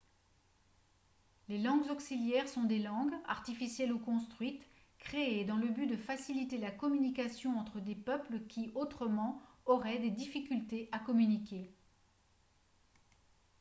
les langues auxiliaires sont des langues artificielles ou construites créées dans le but de faciliter la communication entre des peuples qui autrement auraient des difficultés à communiquer